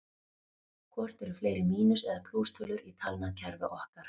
Hvort eru fleiri mínus- eða plústölur í talnakerfi okkar?